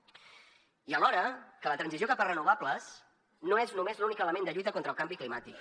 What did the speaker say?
i alhora que la transició cap a renovables no és només l’únic element de lluita contra el canvi climàtic